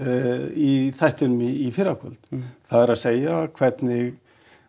í þættinum í fyrrakvöld það er að segja hvernig